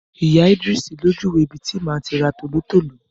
Ìyá Ìdris ló júwe ibi tí màá tí ra tòlótòló.